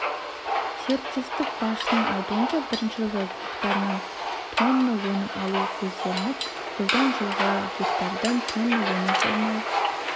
серіктестік басшысының айтуынша бірінші жылы гектарынан тонна өнім алу көзделіп жылдан кейін гектардан тонна өнім жинау